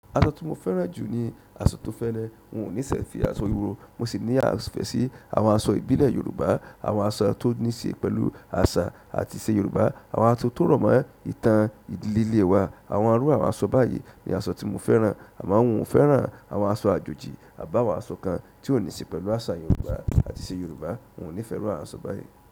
Aṣọ tí mo fẹ́ràn jù ní aṣọ tó fẹlẹ. N ò nífẹ̀ si aṣọ ìhòòhò, mo sì ní ìfẹ́ sí àwọn aṣọ ìbílẹ̀ Yorùbá, àwọn aṣọ tó ní ṣe pẹ̀lú àṣà àti ìṣe Yorùbá, àwọn aṣọ tó rọ̀ mọ́ ìtàn ìdílé wa. Àwọn irú àwọn aṣọ báyìí ni aṣọ tí mo fẹ́ràn, àmọ́ n ò fẹ́ràn àwọn aṣọ àjòjì, tàbí àwọn aṣọ kan tí ò ní ṣe pẹ̀lú àṣà Yorùbá àti ìṣe Yorùbá. N ò ní fẹ́ iru àwọn aṣọ báyìí.